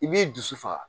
I b'i dusu faga